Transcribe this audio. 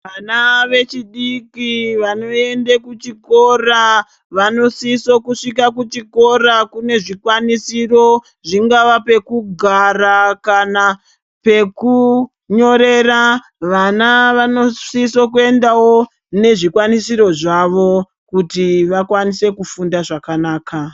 Vana vadiki vanoenda kuchikora vanosise kune zvikwanisiro zvingava pekugara kana pekunyorera vana vanosisa kuendawo nezvikwanisiro zvavo kuti vakwanise kufunda zvakanaka.